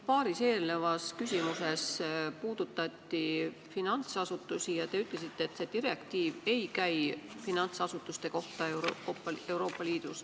Paaris eelnevas küsimuses puudutati finantsasutusi ja te ütlesite, et see direktiiv ei käi Euroopa Liidu finantsasutuste kohta.